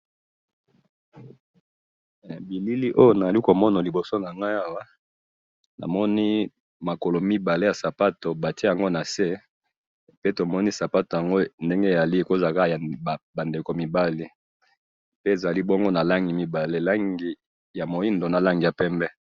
Elili oyo azomona awa, eza makolo mibale yasapato batye nase, mpe tomoni sapato yango ndenge ezali, ezali yabandeko mibali, ezali bongo nalangi mibale, muyindo, na pembe